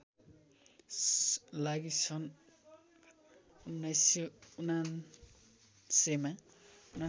लागि सन् १९९९ मा